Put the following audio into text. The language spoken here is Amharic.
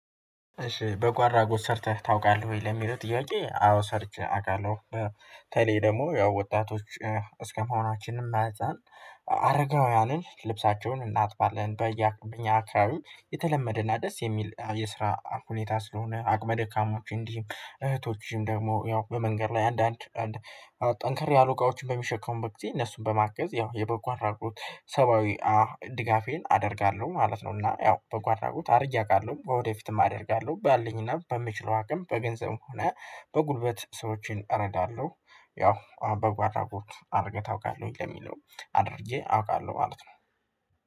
እሺ በጎ አድራጎት ሰርተህ ታውቃለህ ወይ? ለሚለው ጥያቄ አዎ ሰርቼ አውቃለሁ በተለይ ደግሞ ያው ወጣቶች እስከመሆናችንም መጠን አረጋውያንን ልብሳቸውን እናጥባለን። በኛ አካባቢ የተለመደና ደስ የሚል የስራ ሁኔታ ስለሆነ አቅመ ደካሞች እንዲህ እህቶችም ደግሞ ያው በመንገድ ላይ አንዳንድ ጠንከር ያሉ እቃዎችን በሚሸከሙበት ጊዜ እነሱን በማገዝ ያው የበጎ አድራጎት ሰብአዊ ድጋፌን አደርጋለሁ ማለት ነው። እና ያው በጎ አድራጎት አድርጌ አውቃለው ወደፊትም አደርጋለሁ ባልኝና በምችለው አቅም በገንዘብ ከሆነ በጉልበት ሰዎችን እረዳለሁ። ያው በጎ አድራጎት አድርገህ ታውቃለህ ወይ? ለሚለው አድርጌ አውቃለሁ ማለት ነው